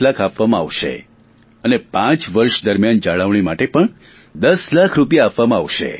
1000000 આપવામાં આવશે અને પાંચ વર્ષ દરમિયાન જાળવણી માટે 1000000 રૂપિયા આપવામાં આવશે